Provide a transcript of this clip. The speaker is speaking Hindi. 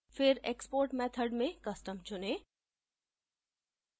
फिर export method में custom चुनें